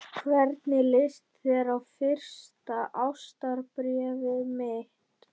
Hvernig leist þér á fyrsta ástarbréfið mitt?